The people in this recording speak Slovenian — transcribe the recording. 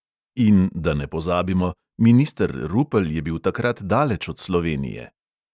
In, da ne pozabimo, minister rupel je bil takrat daleč od slovenije.